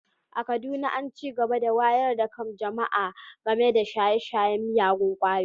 A Kaduna ana ci gaba da wayar da kan jama’a game da shaye-shayen miyagun ƙwayoyi